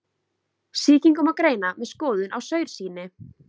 Sýkingu má greina með skoðun á saursýni.